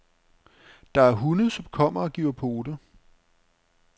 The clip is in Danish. Der er hunde, som kommer og giver pote.